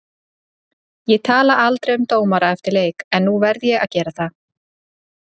Ég tala aldrei um dómara eftir leiki, en nú verð ég að gera það.